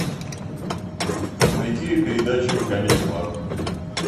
найти передачу камеди клаб